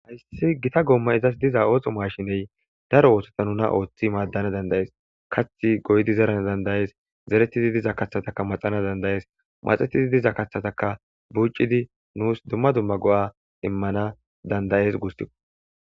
hayssi gita goomma izas diza ooxo maashiney daro oohtota nuna ooththi maaddana dandayees kathi goydi zeran dandayees zeretidi diza kathataka maxana dandayees maxetidi diza kathataka bucidi nuus dumma dumma go7a immana dandayees gustiko